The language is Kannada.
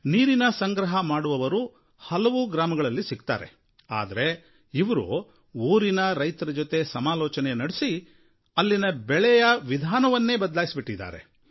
ನೀರಿನ ಸಂಗ್ರಹ ಮಾಡುವವರು ಹಲವು ಗ್ರಾಮಗಳಲ್ಲಿ ಸಿಗ್ತಾರೆ ಆದರೆ ಇವರು ಊರಿನ ರೈತರ ಜೊತೆ ಸಮಾಲೋಚನೆ ಮಾಡಿ ಅಲ್ಲಿನ ಬೆಳೆಯ ವಿಧಾನವನ್ನೇ ಬದಲಾಯಿಸಿ ಬಿಟ್ಟಿದ್ದಾರೆ